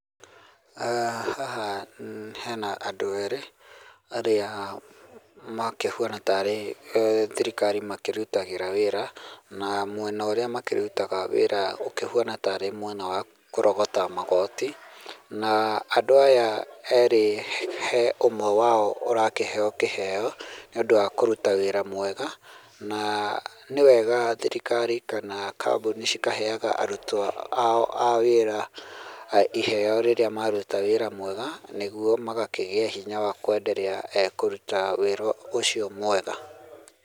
Aah haha hena andũ erĩ arĩa makĩhuana tarĩ thirikari makĩritagĩra wĩra na mwena ũrĩa makĩrutaga wĩra ũkĩhuana tarĩ mwena wa kũrogota magoti na andũ aya erĩ he ũmwe wao ũrakĩheo kĩheo nĩ ũndũ wa kũruta wĩra mwega na nĩ wega thirikari kana kambuni ikahega arutwo ao a wĩra iheo rĩrĩa maruta wĩra mwega nĩguo magakĩgĩa hinya wa kuendela kũruta wĩra ũcio mwega.